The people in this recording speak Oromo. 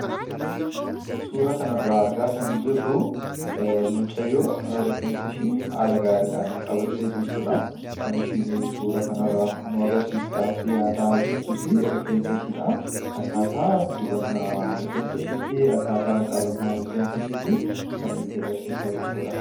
suura kana irraa argaa kan jirru mucayyoo rifeensa ishii haala gaariidhaan qabattee jirtuudha kan ishiin suura kana agarsiisudhaaf yaalaa jirtus rifeensa shiidha akkaataa dibannaa rifeensa shiitii akkaataa dibannaa rifeensa shiitii kan nutti agarsiisaa jirtuudha.